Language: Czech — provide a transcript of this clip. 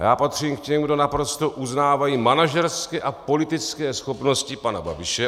A já patřím k těm, kdo naprosto uznávají manažerské a politické schopnosti pana Babiše.